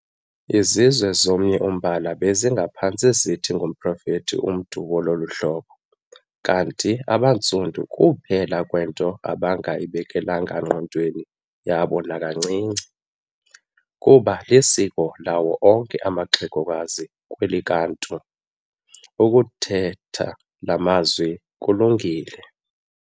Izizwe zomnye umbala bezingaphantse zithi ngumprofethi umntu wolu hlobo, kanti abaNtsundu kuuphela kwento abangayi bekelanga ngqondweni yabo nakancinci, kuba lisiko lawo onke amaxhegokazi kwelakwaNtu, ukuthetha laa mazwi kulungile.